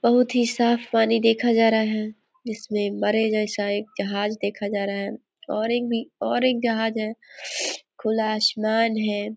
बहुत ही साफ़ पानी देखा जा रहा है जिसमें बरे जैसा एक जहाज देखा जा रहा है और एक भी और एक जहाज है खुला आसमान है।